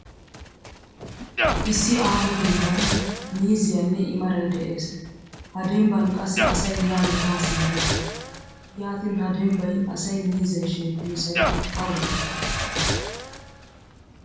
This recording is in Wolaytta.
Issi aaho demban miizziyane i maray de'ees. Ha dembban qassi asay yaane ha simerettees. Yaatin ha dembbay asay miizzay shemppiyosay awe?